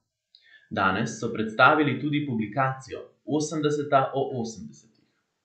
Danes so predstavili tudi publikacijo Osemdeseta o osemdesetih.